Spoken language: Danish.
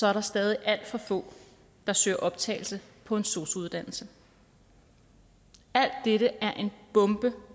er der stadig alt for få der søger optagelse på en sosu uddannelse alt dette er en bombe